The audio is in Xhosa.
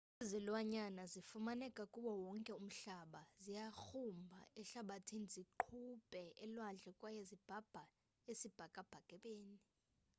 izilwanyana zifumaneka kuwo wonke umhlaba. ziyagrumba emhlabathini, ziqubhe elwandle kwaye zibhabhe esibhakabhakeni